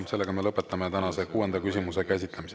Sellega me lõpetame tänase kuuenda küsimuse käsitlemise.